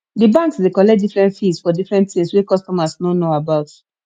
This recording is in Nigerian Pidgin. di banks dey collect different fees for different things wey customers no know about